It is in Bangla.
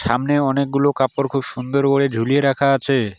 সামনে অনেকগুলো কাপড় খুব সুন্দর করে ঝুলিয়ে রাখা আছে।